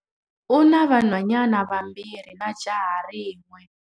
U na vanhwanyana vambirhi na jaha rin'we.